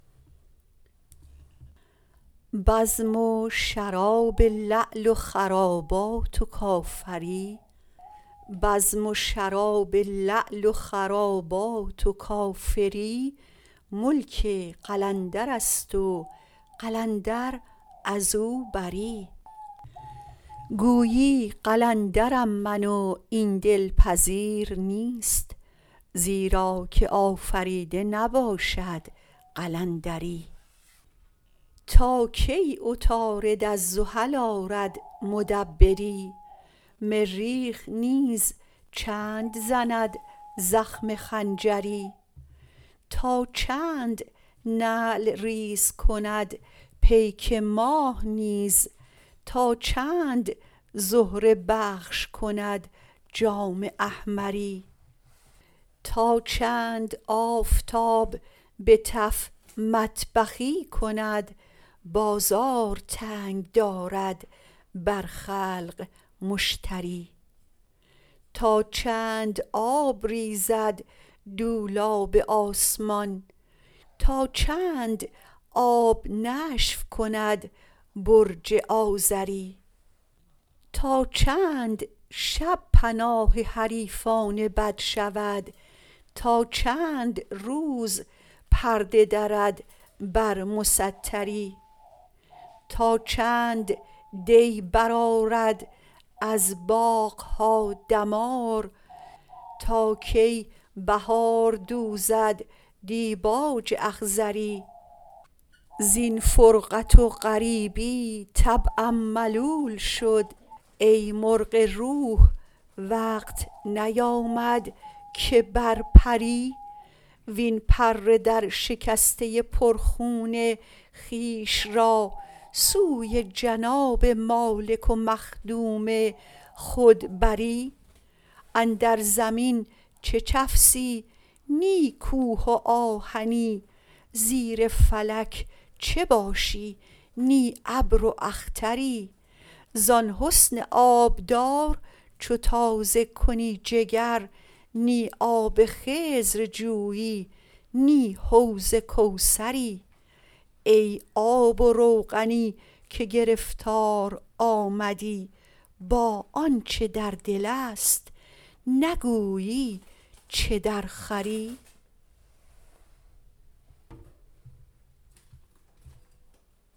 بزم و شراب لعل و خرابات و کافری ملک قلندرست و قلندر از او بری گویی قلندرم من و این دلپذیر نیست زیرا که آفریده نباشد قلندری تا کی عطارد از زحل آرد مدبری مریخ نیز چند زند زخم خنجری تا چند نعل ریز کند پیک ماه نیز تا چند زهره بخش کند جام احمری تا چند آفتاب به تف مطبخی کند بازار تنگ دارد برخلق مشتری تا چند آب ریزد دولاب آسمان تا چند آب نشف کند برج آذری تا چند شب پناه حریفان بد شود تا چند روز پرده درد بر مستری تا چند دی برآرد از باغ ها دمار تا کی بهار دوزد دیباج اخضری زین فرقت و غریبی طبعم ملول شد ای مرغ روح وقت نیامد که بر پری وین پر درشکسته پرخون خویش را سوی جناب مالک و مخدوم خود بری اندر زمین چه چفسی نی کوه و آهنی زیر فلک چه باشی نی ابر و اختری زان حسن آبدار چو تازه کنی جگر نی آب خضر جویی نی حوض کوثری ای آب و روغنی که گرفتار آمدی با آنچ در دل است نگویی چه درخوری